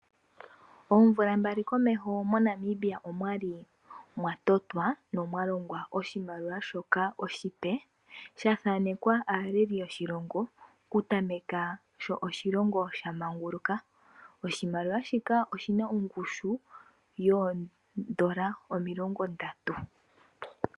Oomvula mbali komeho moNamibia omwali mwatotwa nomwalongwa oshimaliwa shoka oshipe sha thanekwa aaleli yoshilongo, oku tameka sho oshilongo sha manguluka. Oshimaliwa shika oshina oongushu yoondola omilongo ndatu.